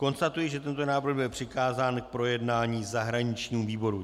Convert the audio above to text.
Konstatuji, že tento návrh byl přikázán k projednání zahraničnímu výboru.